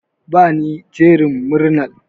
Bani jerin murnar.